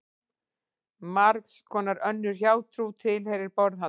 Margs konar önnur hjátrú tilheyrir borðhaldi.